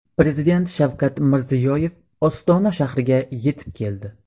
Prezident Shavkat Mirziyoyev Ostona shahriga yetib keldi.